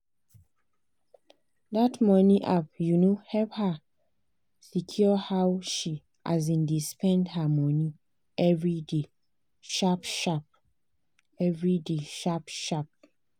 that money app um help her secure how she um dey spend her money every day sharp-sharp. every day sharp-sharp.